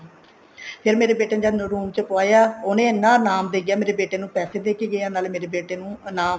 ਫ਼ੇਰ ਮੇਰੇ ਬੇਟੇ ਨੇ ਜਦ room ਚ ਪਾਇਆ ਉਹਨਾ ਇੰਨਾ ਇਨਾਮ ਦਿੱਤਾ ਮੇਰੇ ਬੇਟੇ ਨੂੰ ਪੈਸੇ ਦੇਕੇ ਗਿਆ ਨਾਲੇ ਮੇਰੇ ਬੇਟੇ ਨੂੰ ਇਨਾਮ